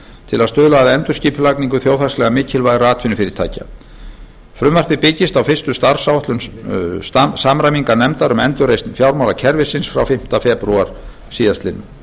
til að stuðla að endurskipulagningu þjóðhagslega mikilvægra atvinnufyrirtækja frumvarpið byggist á fyrstu starfsáætlun samræmingarnefndar um endurreisn fjármálakerfisins frá fimmta febrúar síðastliðinn